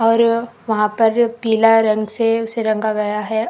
और वहां पर पिला रंग से उसे रंगा गया है।